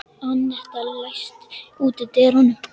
Annetta, læstu útidyrunum.